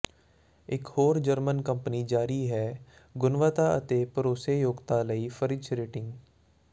ਇਕ ਹੋਰ German company ਜਾਰੀ ਹੈ ਗੁਣਵੱਤਾ ਅਤੇ ਭਰੋਸੇਯੋਗਤਾ ਲਈ ਫ਼ਰਿਜ ਰੇਟਿੰਗ